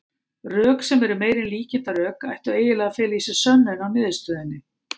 Rök, sem eru meira en líkindarök, ættu eiginlega að fela í sér sönnun á niðurstöðunni.